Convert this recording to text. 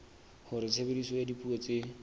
hore tshebediso ya dipuo tse